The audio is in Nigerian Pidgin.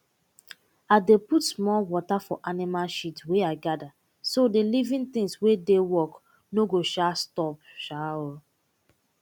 i dey put small water for animal shit wey i gather so the living things wey dey work no go um stop um